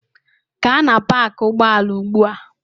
Gaa na paakị ụgbọala ugbu a!